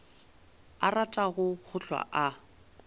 a ratago go hlwa a